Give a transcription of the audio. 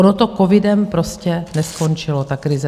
Ono to covidem prostě neskončilo, ta krize.